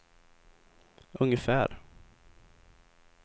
ungefär